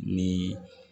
Ni